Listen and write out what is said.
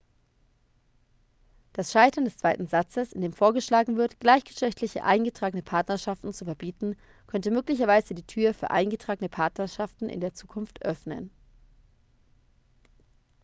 das scheitern des zweiten satzes in dem vorgeschlagen wird gleichgeschlechtliche eingetragene partnerschaften zu verbieten könnte möglicherweise die tür für eingetragene partnerschaften in der zukunft öffnen